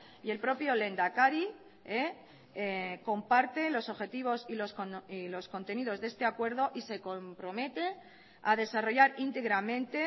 y el propio lehendakari comparte los objetivos y los contenidos de este acuerdo y se compromete a desarrollar íntegramente